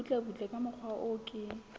butlebutle ka mokgwa o ke